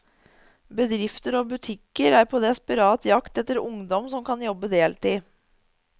Bedrifter og butikker er på desperat jakt etter ungdom som kan jobbe deltid.